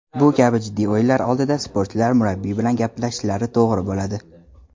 Bu kabi jiddiy o‘yinlar oldidan sportchilar murabbiy bilan gaplashishlari to‘g‘ri bo‘ladi.